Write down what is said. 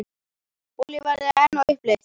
Olíuverð enn á uppleið